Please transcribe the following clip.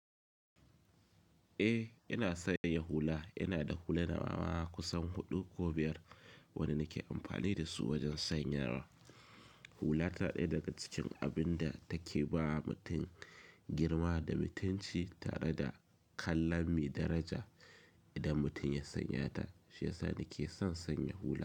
Eh, ina sanya hula. Ina da hula na ma kusan huɗu ko biyar wanda nake amfani da su wajen sanyawa. Hula ta ɗaya daga cikin abin da take ba mutum girma da mutunci tare da kallon me daraja. Idan mutum ya sanya ta, shiya sani ke son sanya hula.